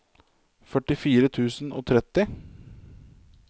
førtifire tusen og tretti